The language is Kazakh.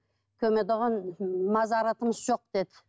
көметұғын мазаратымыз жоқ деді